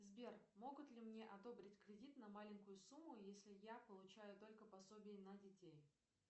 сбер могут ли мне одобрить кредит на маленькую сумму если я получаю только пособие на детей